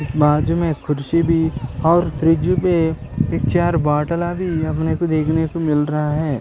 इस बाज में खुर्ची भी और फ्रिज भी एक चार बोतल ला भी अपने को देखने को मिल रहा है।